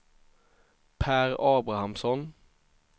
Pär Abrahamsson